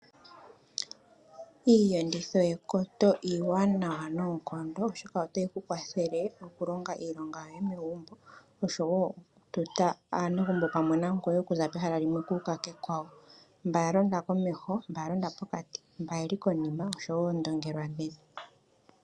Iiyenditho yekoto iiwanawa noonkondo oshoka otayi ku kwathele okulonga iilonga yoye megumbo, osho woo okututa aanegumbo pamwe nangoye okuza pehala limwe okuuka kekwawo. Mba yalonda komeho, mba yalonda pokati, mba yeli konima nosho wo oondongelwa dhe.